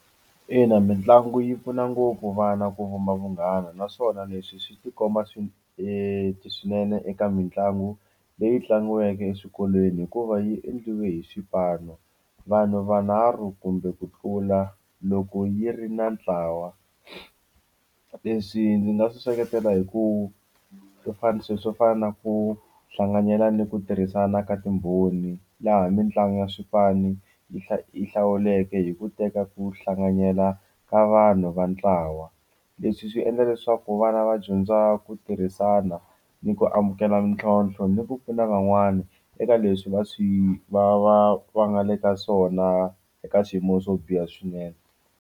Ina mitlangu yi pfuna ngopfu vana ku vuma vunghana naswona leswi swi tikomba swi e swinene eka mitlangu leyi tlangiwaka exikolweni hikuva yi endliwe hi xipano vanhu vanharhu kumbe ku tlula loko yi ri na ntlawa leswi ndzi nga swi seketela hi ku swo fana na swilo swo fana na ku hlanganyela ni ku tirhisana ka timbhoni laha mitlangu ya swifaniso yi va yi hlawuleke hi ku teka ku hlanganyela ka vanhu va ntlawa leswi swi endla leswaku vana va dyondza ku tirhisana ni ku amukela ntlhontlho ni ku pfuna van'wani eka leswi va swi va va va nga le ka swona eka swiyimo swo biha swinene.